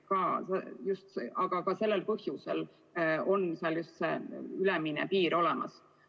Ja just sellel põhjusel on see ülemine piir olemas.